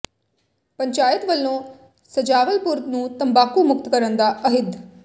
ਪੰਚਾਇਤ ਵੱਲੋਂ ਸਜਾਵਲਪੁਰ ਨੂੰ ਤੰਬਾਕੂ ਮੁਕਤ ਕਰਨ ਦਾ ਅਹਿਦ